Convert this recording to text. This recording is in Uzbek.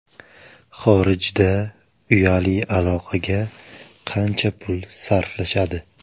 Xorijda uyali aloqaga qancha pul sarflashadi?.